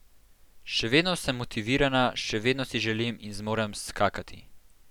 Še vedno sem motivirana, še vedno si želim in zmorem skakati.